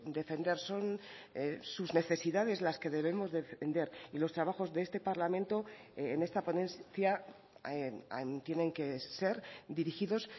defender son sus necesidades las que debemos defender y los trabajos de este parlamento en esta ponencia tienen que ser dirigidos